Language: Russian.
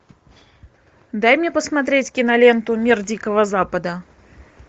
дай мне посмотреть киноленту мир дикого запада